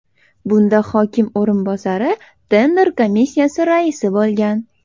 Bunda hokim o‘rinbosari tender komissiyasi raisi bo‘lgan.